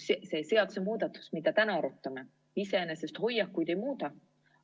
See seadusemuudatus, mida täna arutame, iseenesest hoiakuid ei muuda.